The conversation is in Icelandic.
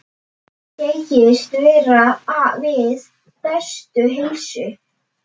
Segist vera við bestu heilsu.